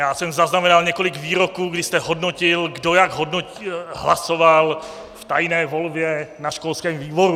Já jsem zaznamenal několik výroků, když jste hodnotil , kdo jak hlasoval v tajné volbě na školském výboru.